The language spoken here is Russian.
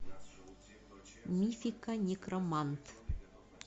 мифика некромант